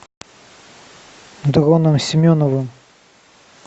дроном семеновым